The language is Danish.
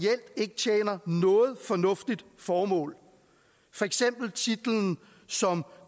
ikke tjener noget fornuftigt formål for eksempel titlen som